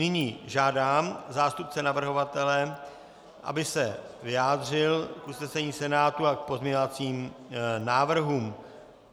Nyní žádám zástupce navrhovatele, aby se vyjádřil k usnesení Senátu a k pozměňovacím návrhům.